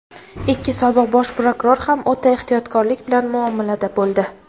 ikki sobiq Bosh prokuror ham o‘ta ehtiyotkorlik bilan muomalada bo‘ldi.